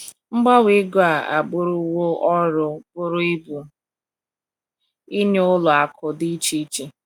Mgbanwe ego a abụrụwo ọrụ bụrụ ibu nye ụlọ akụ̀ dị iche iche..